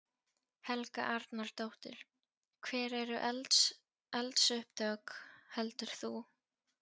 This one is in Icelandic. Helga Arnardóttir: Hver eru eldsupptök, heldur þú?